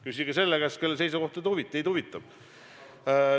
Küsige selle käest, kelle seisukoht teid huvitab.